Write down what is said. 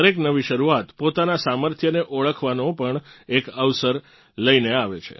દરેક નવી શરૂઆત પોતાનાં સામર્થ્યને ઓળખવાનો પણ એક અવસર લઇને આવે છે